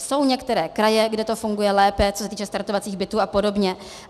Jsou některé kraje, kde to funguje lépe, co se týče startovacích bytů a podobně.